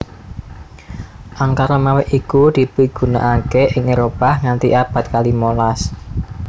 Angka Romawi iki dipigunakaké ing Éropah nganti abad kalimolas